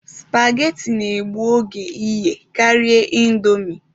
Spageti na-egbu oge iye karịa ịndomi